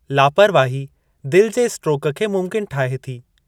लापरवाही दिलि जे स्ट्रोक खे मुमकिनु ठाहे थी।